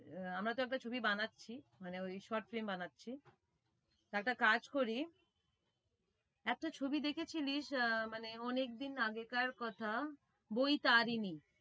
আহ আমরা তো একটা ছবি বানাচ্ছি মানে ওই short film বানাচ্ছি একটা কাজ করি একটা ছবি দেখেছিলিস আহ মানে অনেক দিন আগেকার কথা বৈতারিনী।